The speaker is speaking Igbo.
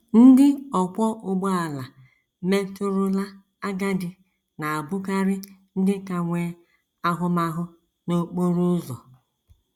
Ndị ọkwọ ụgbọala metụrụla agadi na - abụkarị ndị ka nwee ahụmahụ n’okporo ụzọ.